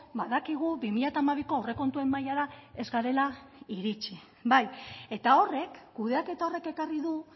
badakigu bi mila hamabiko aurrekontuen mailara ez garela iritxi bai eta horrek kudeaketa horrek ekarri du